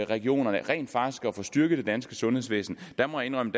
regionerne rent faktisk at få styrket det danske sundhedsvæsen jeg må indrømme